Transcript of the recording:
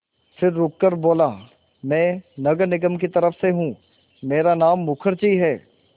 फिर रुककर बोला मैं नगर निगम की तरफ़ से हूँ मेरा नाम मुखर्जी है